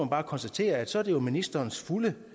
bare konstatere at så er det jo ministerens fulde